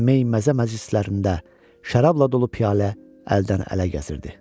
Meyməzə məclislərində şərabla dolu piyalə əldən ələ gəzirdi.